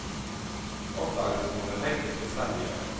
Oppdagelsen må den enkelte selv gjøre.